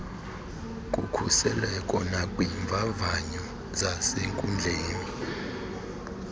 kukhuseleko nakwiimvavanyo zasenkundleni